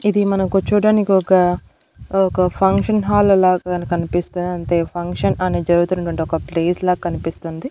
ఇది మనకు చూడానికి ఒక ఒక ఫంక్షన్ హాల్ లాగా కనిపిస్తుంది అంతే ఫంక్షన్ అనే జరుగుతున్నటువంటి ఒక ప్లేస్ లాగా కనిపిస్తుంది.